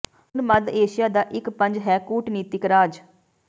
ਹੁਣ ਮੱਧ ਏਸ਼ੀਆ ਦਾ ਇੱਕ ਪੰਜ ਹੈ ਕੂਟਨੀਤਿਕ ਰਾਜ